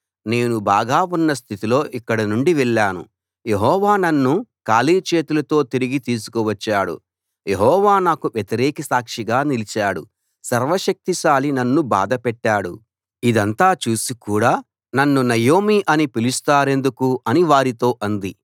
నేను బాగా ఉన్న స్థితిలో ఇక్కడినుండి వెళ్ళాను యెహోవా నన్ను ఖాళీ చేతులతో తిరిగి తీసుకువచ్చాడు యెహోవా నాకు వ్యతిరేక సాక్షిగా నిలిచాడు సర్వ శక్తిశాలి నన్ను బాధ పెట్టాడు ఇదంతా చూసి కూడా నన్ను నయోమి అని పిలుస్తారెందుకు అని వారితో అంది